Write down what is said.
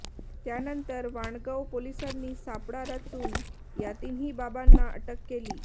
त्यानंतर वाणगाव पोलिसांनी सापळा रचून या तिन्ही बाबांना अटक केली